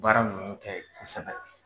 Baara minnu ta ye kosɛbɛ